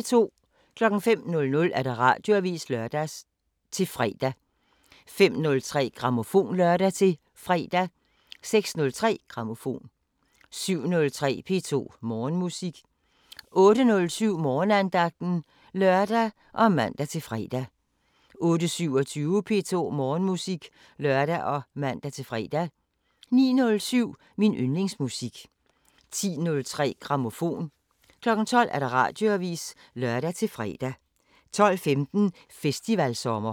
05:00: Radioavisen (lør-fre) 05:03: Grammofon (lør-fre) 06:03: Grammofon 07:03: P2 Morgenmusik 08:07: Morgenandagten (lør og man-fre) 08:27: P2 Morgenmusik (lør og man-fre) 09:07: Min yndlingsmusik 10:03: Grammofon 12:00: Radioavisen (lør-fre) 12:15: Festivalsommer